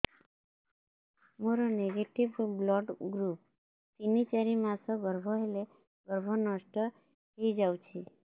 ମୋର negative blood group ତିନ ଚାରି ମାସ ଗର୍ଭ ହେଲେ ଗର୍ଭ ନଷ୍ଟ ହେଇଯାଉଛି